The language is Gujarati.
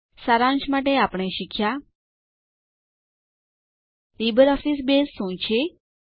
સારાંશ માટે આપણે શીખ્યા લીબરઓફીસ બેઝ શું છે